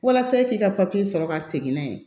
Walasa e k'i ka papiye sɔrɔ ka segin n'a ye